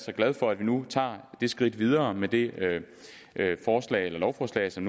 og glad for at vi nu tager det skridt videre med det lovforslag som